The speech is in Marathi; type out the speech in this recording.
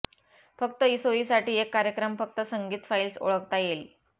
फक्त सोयीसाठी एक कार्यक्रम फक्त संगीत फाइल्स ओळखता येईल